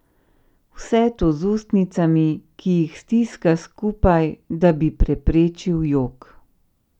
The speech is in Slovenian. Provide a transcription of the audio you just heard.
Vse to z ustnicami, ki jih stiska skupaj, da bi preprečil jok.